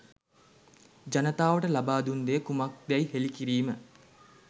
ජනතාවට ලබා දුන් දෙය කුමක්දැයි හෙළි කිරීම